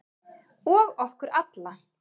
Og okkur alla.